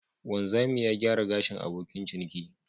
Wanzami ya gyara gashin abokin ciniki.